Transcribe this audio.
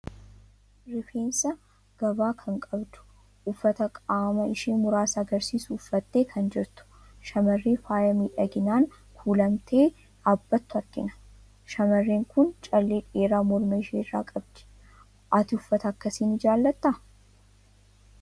Rifeensa gavaa kan qabdu, uffata qaama ishii muraasa argisiisu uffattee kan jirtu, shamarree faaya miidhaginaan kuulamtee dhaabbattu argina. Shamarreen kun callee dheeraa morma ishii irraa qabdi. Ati uffata akkasii ni jaalattaa?